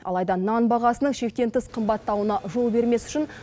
алайда нан бағасының шектен тыс қымбаттауына жол бермес үшін